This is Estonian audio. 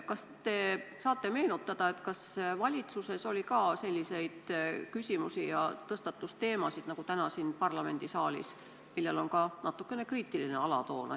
Kas te saate meenutada, kas valitsuses oli ka selliseid küsimusi ja tõstatus selliseid teemasid nagu täna siin parlamendisaalis, millel on ka natukene kriitiline alatoon?